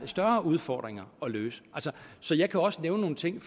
større udfordringer at løse så jeg kan også nævne nogle ting